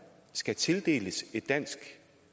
skal tildeles et dansk